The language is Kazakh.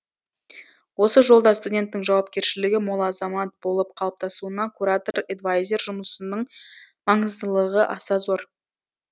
осы жолда студенттің жауапкершілігі мол азамат болып қалыптасуына куратор эдвайзер жұмысының маңыздылығы аса зор